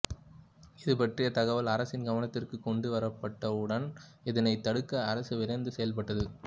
இது பற்றிய தகவல் அரசின் கவனத்திற்குக் கொண்டு வரப்பட்டவுடன் இதனைத் தடுக்க அரசு விரைந்து செயல்பட்டது